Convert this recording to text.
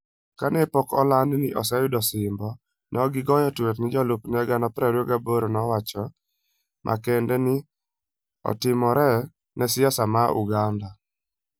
Kane pok oland ni oseyudo osimbo, ne ogoyo tweet ne jolupne 28,000 ni wach moro makende ne otimore ne siasa ma Uganda.